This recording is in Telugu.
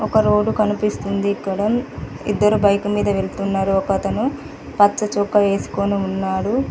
ఒక రోడ్ కనిపిస్తుంది ఇక్కడ. ఇద్దరు బైకు మీద వెళ్తున్నారు ఒకతను పచ్చ చొక్కా వేసుకొని ఉన్నారు.